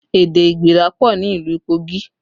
Èdè igbira pọ ni ìlú Kogi